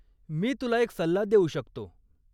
मी तुला एक सल्ला देऊ शकतो.